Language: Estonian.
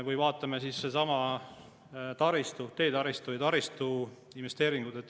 Või vaatame taristut, teetaristu ja taristu investeeringuid.